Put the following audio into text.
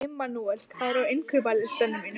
Immanúel, hvað er á innkaupalistanum mínum?